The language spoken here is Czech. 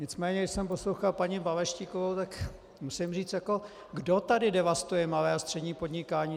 Nicméně když jsem poslouchal paní Balaštíkovou, tak musím říct: Kdo tady devastuje malé a střední podnikání?